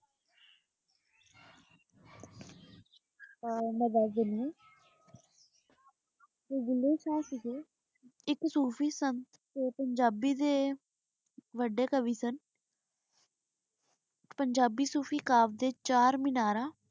ਹਾਂ ਮੈਂ ਦਸ ਦੇਣ ਜੋ ਭੂਲੇ ਸ਼ਾਹ ਸੀਗੇ ਏਇਕ ਸੂਫੀ ਸਨ ਤੇ ਪੰਜਾਬੀ ਦੇ ਵਾਦੇ ਕਵੀ ਸਨ ਪੰਜਾਬੀ ਸੂਫੀ ਕਾਵ ਕਾਵ ਦੇ ਚਾਰ ਮਿਨਾਰਾਂ